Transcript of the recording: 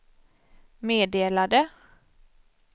meddelade